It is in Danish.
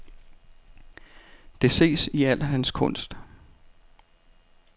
Det ses i al hans kunst.